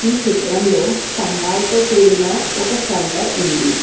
ఈ చిత్రంలో స్తంభాలతో కూడిన ఒక షెల్టర్ ఉంది.